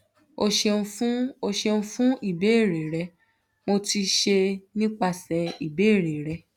o ṣeun fun o ṣeun fun ibeere rẹ mo ti ṣe nipasẹ ibeere rẹ